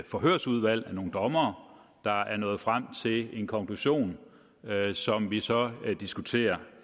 forhørsudvalg af nogle dommere der er nået frem til en konklusion som vi så diskuterer